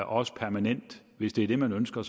også permanent hvis det er det man ønsker